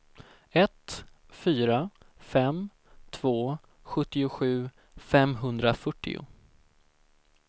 ett fyra fem två sjuttiosju femhundrafyrtio